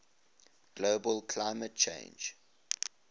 global climate change